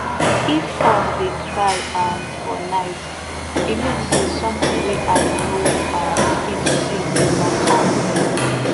if horse dey cry um for night e mean say something wey eye no um fit see dey waka near